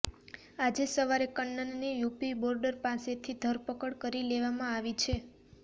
આજે સવારે કન્નનની યૂપી બોર્ડર પાસેથી ધરપકડ કરી લેવામાં આવી છે